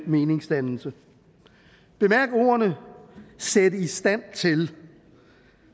meningsdannelse bemærk ordene sætte i stand til